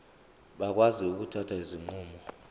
bakwazi ukuthatha izinqumo